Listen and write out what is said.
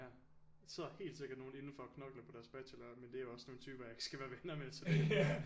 Ja sidder helt sikker nogen indenfor og knokler på deres bachelor med det er også sådan nogle typer jeg ikke skal være venner med så